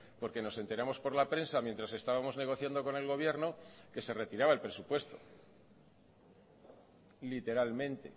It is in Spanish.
porque nos enteramos por la prensa mientras estábamos negociando con el gobierno que se retiraba el presupuesto literalmente